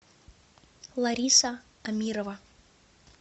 лариса амирова